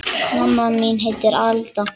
Mamma mín heitir Alda.